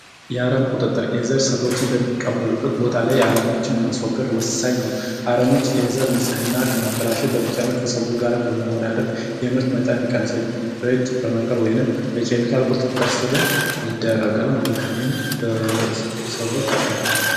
የአረም ቁጥጥር የዘር ሰብሎችን በሚቀበሩበት ቦታ ላይ የአረቦችን ማስወገድ ወሳኝ ነው። አረሞች የዘር ንጽህና ከማበላሸ በተጨማሪ ከሰብሉ ጋር በመወዳደር የምርት መጠን ይቀንሳል። በእጅ በመንቀል ወይም በኬሚካል ቁጥጥር ስርም ይደረጋል ማለት ነው። ይህም ለሰብሉ ጠቃሚ ነው።